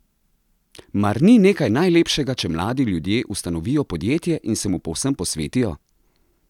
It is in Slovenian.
Mar ni nekaj najlepšega, če mladi ljudje ustanovijo podjetje in se mu povsem posvetijo?